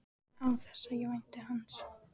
Án þess að ég vænti hans.